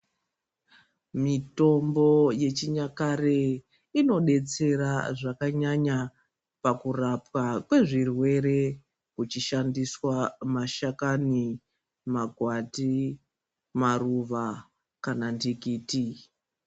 Mitombo yechinyakare ino detsera zvakanyanya pakurapwa kwezvirwere uchishandiswa mashakani magwati maruva kana ndikiti.